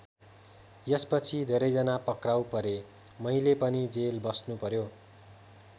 यसपछि धेरैजना पक्राउ परे मैले पनि जेल बस्नुपर्‍यो।